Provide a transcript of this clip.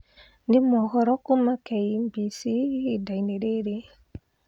Nĩ mohoro kuuma K.B.C ihinda-inĩ rĩrĩ